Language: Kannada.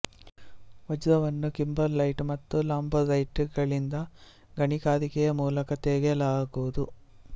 ವಜ್ರವನ್ನು ಕಿಂಬರ್ಲೈಟ್ ಮತ್ತು ಲಾಂಪೊರೈಟ್ ಗಳಿಂದ ಗಣಿಗಾರಿಕೆಯ ಮೂಲಕ ತೆಗೆಯಲಾಗುವುದು